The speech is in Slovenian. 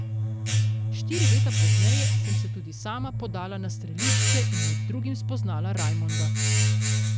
Štiri leta pozneje sem se tudi sama podala na strelišče in med drugim spoznala Rajmonda.